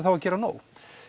þá að gera nóg